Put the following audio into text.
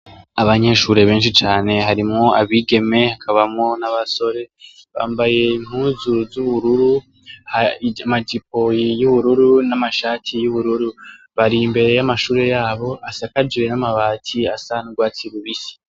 Abanyeshure benshi cane harimwo abigeme hakabamwo nabasore bambaye impuzu zubururu amajipo yubururu namashati yubururu bari imbere yamashure yabo asakajwe namabati asa nurwatsi rubisi